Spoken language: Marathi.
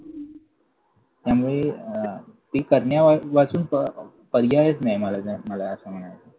त्यामुळे अं ती करण्यावाचून पर्यायच नाही. मला तर मला असं म्हणायचंय.